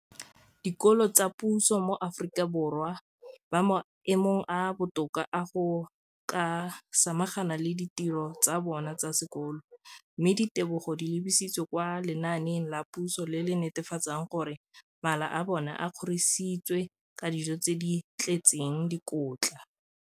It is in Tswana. dikolo tsa puso mo Aforika Borwa ba mo maemong a a botoka a go ka samagana le ditiro tsa bona tsa sekolo, mme ditebogo di lebisiwa kwa lenaaneng la puso le le netefatsang gore mala a bona a kgorisitswe ka dijo tse di tletseng dikotla.